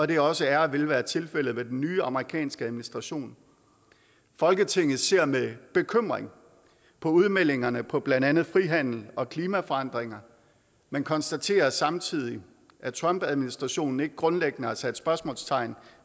det også er og vil være tilfældet med den nye amerikanske administration folketinget ser med bekymring på udmeldingerne på blandt andet frihandel og klimaforandringer men konstaterer samtidig at trumpadministrationen ikke grundlæggende har sat spørgsmålstegn